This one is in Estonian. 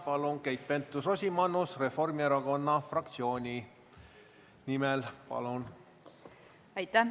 Järgmisena Keit Pentus-Rosimannus Reformierakonna fraktsiooni nimel, palun!